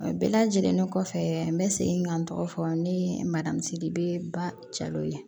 Bɛɛ lajɛlen kɔfɛ n bɛ segin ka n tɔgɔ fɔ ne ye mariamisiribebalaw ye